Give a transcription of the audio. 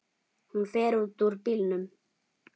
Hún fer út úr bílnum.